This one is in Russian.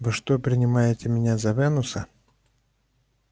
вы что принимаете меня за венуса